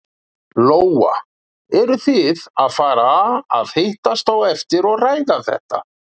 Lóa: Eru þið að fara að hittast á eftir og ræða þetta?